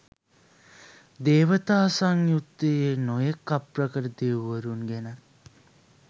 දේවතා සංයුත්තයේ නොයෙක් අප්‍රකට දෙවිවරුන් ගැනත්